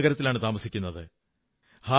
ഞാൻ മുംബൈ നഗരത്തിലാണു താമസിക്കുന്നത്